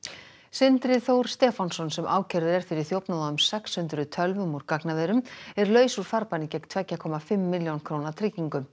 sindri Þór Stefánsson sem ákærður er fyrir þjófnað á um sex hundruð tölvum úr gagnaverum er laus úr farbanni gegn tveggja komma fimm milljón króna tryggingu